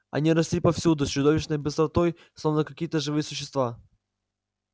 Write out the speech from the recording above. они росли повсюду с чудовищной быстротой словно какие-то живые существа